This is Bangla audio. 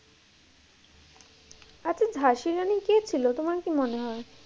আচ্ছা ঝাঁসি রানী কে ছিল, তোমার কি মনে হয়ে?